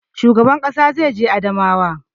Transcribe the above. Shugaban ƙasa zai je Adamawa